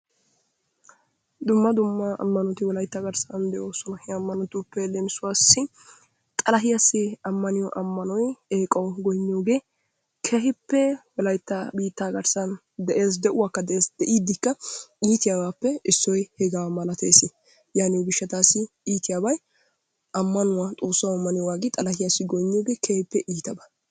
Dumma dumma ammanoti Wolaytta garssan de'oosona. He ammanotuppe leemisuwassi: xalahiyassi ammaniyo ammanoy, eeqawu goynniyogee keehippe Wolaytta garssan de'ees. De'uwakka de'ees. De'iiddikka iitiyabaappe issoy hegaa malateesi. Yaaniyo gishshataassi iitiyabay ammanuwa xoossawu ammaniyogaa aggidi xalahiyassi goynniyogee keehippe iitaba.